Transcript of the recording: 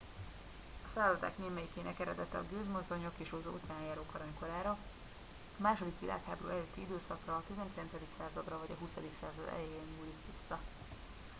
a szállodák némelyikének eredete a gőzmozdonyok és óceánjárók aranykorára a második világháború előtti időszakra a 19. századra vagy a 20. század elejére nyúlik vissza